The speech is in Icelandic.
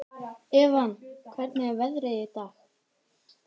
Evan, hvernig er veðrið í dag?